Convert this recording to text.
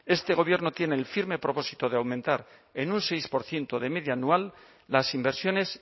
este gobierno tiene el firme propósito de aumentar en un seis por ciento de media anual las inversiones